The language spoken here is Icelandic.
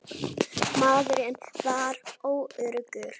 Maðurinn varð óöruggur.